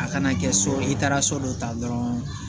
A kana kɛ so i taara so dɔ ta dɔrɔn